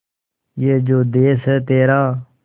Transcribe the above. ये जो देस है तेरा